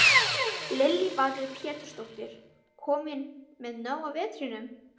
Lillý Valgerður Pétursdóttir: Kominn með nóg af vetrinum?